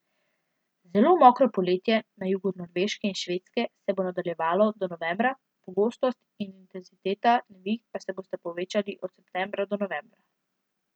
Zelo mokro poletje na jugu Norveške in Švedske se bo nadaljevalo do novembra, pogostost in intenziteta neviht pa se bosta povečali od septembra do novembra.